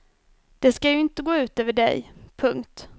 Det ska ju inte gå ut över dig. punkt